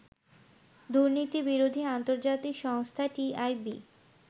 দুর্নীতিবিরোধী আন্তর্জাতিক সংস্থা টিআইবি